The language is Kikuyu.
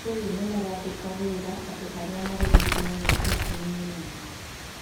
andũ rĩu nĩ marandĩka wĩra andũ arĩa marĩ rungu rwa mĩaka ikũmi na ĩnana